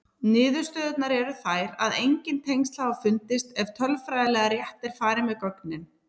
Niðurstöðurnar eru þær að engin tengsl hafa fundist ef tölfræðilega rétt er farið með gögnin.